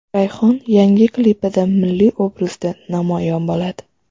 Rayhon yangi klipida milliy obrazda namoyon bo‘ladi.